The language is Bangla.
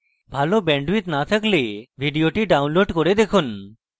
ভাল bandwidth না থাকলে ভিডিওটি download করে দেখুন